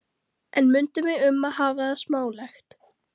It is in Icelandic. En mundu mig um að hafa það smálegt.